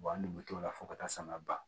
an dun bɛ t'o la fo ka taa sama ban